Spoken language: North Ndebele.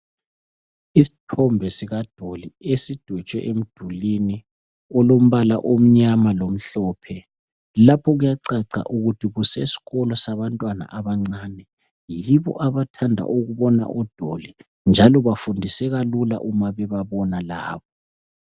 Isithombe sikadoli esidwetshwe emdulini olombala omnyama lomhlophe, lapho kuyacaca ukuthi kuseskolo sabantwana abancane, yibo abathanda ukubona odoli, njalo bafundiseka Lula Uma bebabona laba